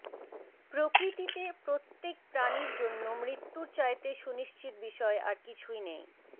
প্রকৃতিতে প্রত্যেক প্রাণীর জন্য মৃত্যুর চাইতে সুনিশ্চিত বিষয় আর কিছুই নেই